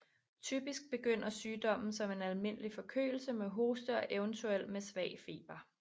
Typisk begynder sygdommen som en almindelig forkølelse med hoste og eventuelt med svag feber